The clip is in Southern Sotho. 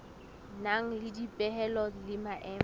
nang le dipehelo le maemo